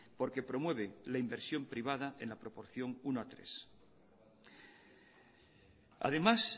porque promueve la inversión privada en la proporción uno a tres además